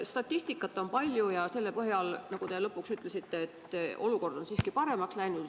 Statistikat on palju ja selle põhjal, nagu te lõpuks ütlesite, on olukord siiski paremaks läinud.